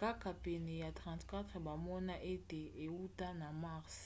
kaka pene ya 34 bamona ete euta na mars